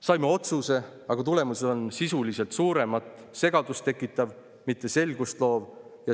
Saime otsuse, aga tulemus on sisuliselt suuremat segadust tekitav, mitte selgust loov.